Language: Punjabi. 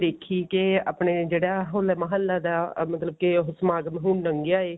ਦੇਖੀ ਕੇ ਆਪਣੇ ਜਿਹੜਾ ਹੋਲੇ ਮਹੱਲੇ ਦਾ ਮਤਲਬ ਕਿ ਸਮਾਗਮ ਹੁਣ ਲੰਗਿਆ ਹੈ